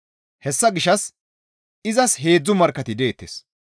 Hessa gishshas izas heedzdzu markkati deettes.